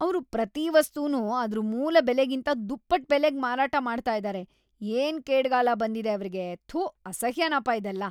ಅವ್ರು ಪ್ರತೀ ವಸ್ತುನೂ ಅದ್ರ್ ಮೂಲ ಬೆಲೆಗಿಂತ ದುಪ್ಪಟ್ಟ್ ಬೆಲೆಗೆ ಮಾರಾಟ ಮಾಡ್ತಾ ಇದಾರೆ. ಏನ್‌ ಕೇಡ್ಗಾಲ ಬಂದಿದೆ ಅವ್ರಿಗೆ! ಥು, ಅಸಹ್ಯನಪ ಇದೆಲ್ಲ!